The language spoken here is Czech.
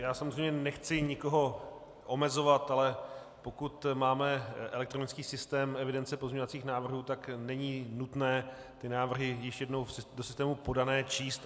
Já samozřejmě nechci nikoho omezovat, ale pokud máme elektronický systém evidence pozměňovacích návrhů, tak není nutné ty návrhy již jednou do systému podané číst.